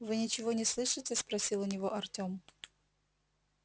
вы ничего не слышите спросил у него артём